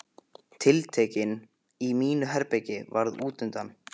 Tiltektin í mínu herbergi varð útundan.